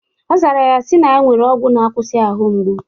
Ọ zara ya sị na ya nwere ọgwụ na-akwụsị ahụ mgbu.